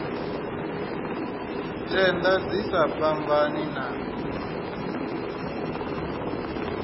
tenda dzi sa fhambani na